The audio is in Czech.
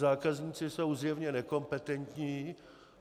Zákazníci jsou zjevně nekompetentní.